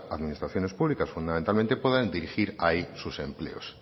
administraciones públicas fundamentalmente puedan dirigir ahí sus empleos